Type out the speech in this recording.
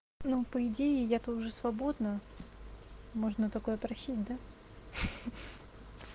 ну по идее я то уже свободна можно такое просить да